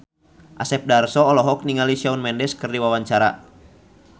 Asep Darso olohok ningali Shawn Mendes keur diwawancara